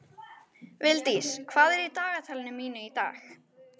Vildís, hvað er í dagatalinu mínu í dag?